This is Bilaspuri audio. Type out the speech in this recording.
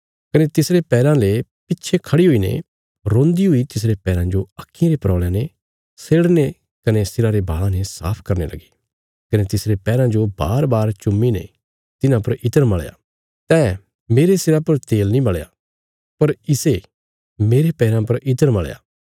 कने तिसरे पैराँ ले पिच्छे खढ़ी हुईने रोन्दी हुई तिसरे पैराँ जो आक्खीं रे परौल़यां ने सेड़ने कने सिरा रे बाल़ां ने साफ करने लगी कने तिसरे पैराँ जो बारबार चुम्मीने तिन्हां पर इत्र मल़या तैं मेरे सिरा पर तेल नीं मल़या पर इसे मेरे पैराँ पर इत्र मल़या